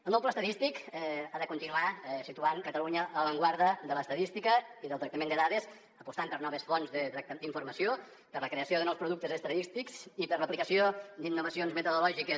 el nou pla estadístic ha de continuar situant catalunya a l’avantguarda de l’estadística i del tractament de dades apostant per noves fonts d’informació per la creació de nous productes estadístics i per l’aplicació d’innovacions metodològiques